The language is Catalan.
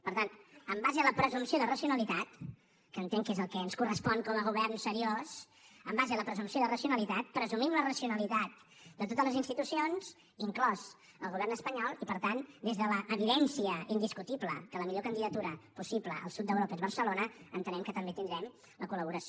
per tant en base a la presumpció de racionalitat que entenc que és el que ens correspon com a govern seriós presumim la racionalitat de totes les institucions inclòs el govern espanyol i per tant des de l’evidència indiscutible que la millor candidatura possible al sud d’europa és barcelona entenem que també tindrem la col·laboració